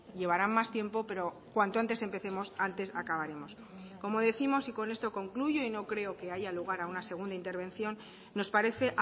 llevarán más tiempo pero cuanto antes empecemos antes acabaremos como décimos y con esto concluyo y no creo que haya lugar a una segunda intervención nos parece